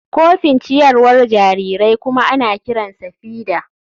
Kofin ciyarwar jarirai kuma ana kiransa feeder.